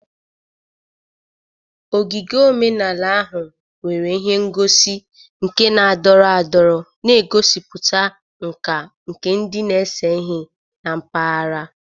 Ogige omenala ahụ nwere ihe ngosi nka na-adọrọ adọrọ, na-egosipụta nkà nke ndị na-ese ihe na mpaghara.